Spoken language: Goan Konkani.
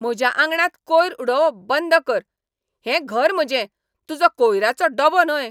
म्हज्या आंगणांत कोयर उडोवप बंद कर. हें घर म्हजें, तुजो कोयराचो डबो न्हय!